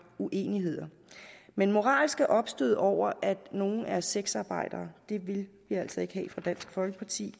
uenigheder men moralske opstød over at nogle er sexarbejdere vil vi altså ikke have fra dansk folkepartis